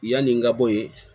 Yanni n ka bɔ yen